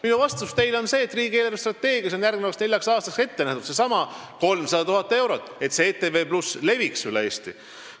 " Minu vastus teile on see, et riigi eelarvestrateegias on järgmiseks neljaks aastaks ette nähtud seesama 300 000 eurot, et ETV+ leviks üle Eesti.